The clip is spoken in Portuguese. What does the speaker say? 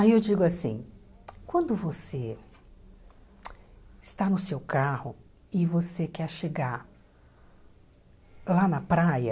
Aí eu digo assim, quando você está no seu carro e você quer chegar lá na praia,